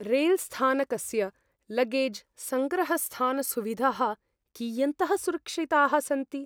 रेल्स्थानकस्य luggage सङ्ग्रहस्थानसुविधाः कियन्तः सुरक्षिताः सन्ति?